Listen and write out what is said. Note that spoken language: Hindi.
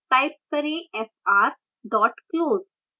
type करेंfr dot close